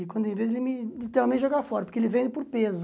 E quando ele vê, ele literalmente joga fora, porque ele vende por peso.